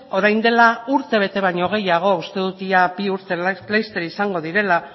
orain dela urtebete baino gehiago uste dut orain bi urte laster izango direla